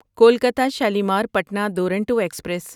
Kolkata Shalimar Patna Duronto express